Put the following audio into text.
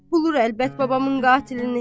qulur əlbət babamın qatilini.